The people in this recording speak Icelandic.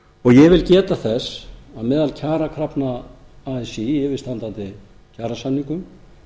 og ég vil geta þess að meðal kjarakrafna así í yfirstandandi kjarasamningum